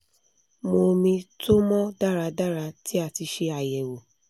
mu omi to mọ daradara ti a ti ṣe àyẹ̀wọ̀